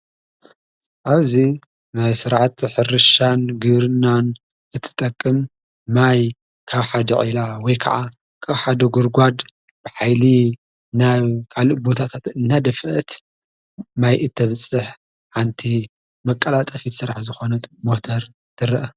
ኣብዙ ናይ ሥርዓቱ ሕርሻን ግብርና እትጠቅም ማይ ካብ ሓድዕኢላ ወይ ከዓ ካውሓደ ጕርጓድ ብኃይሊ ናብ ቃልእ ቦታታት እናደፍአት ማይ እተብጽሕ ኣንቲ መቃላጠፊት ሠራሕ ዘኾነት ሞተር ትርአ።